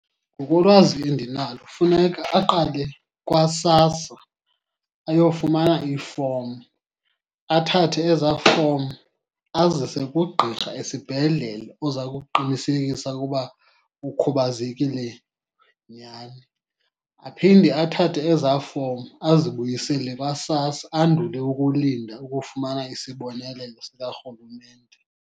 Ngokolwazi endinalo funeka aqale kwaSASSA ayofumana ifomu. Athathe ezaa fomu azise kugqirha esibhedlele oza kuqinisekisa ukuba ukhubazekile nyani. Aphinde athathe ezaa fomu azibuyisele kwaSASSA, andule ukulinda ukufumana isibonelelo sikarhulumente.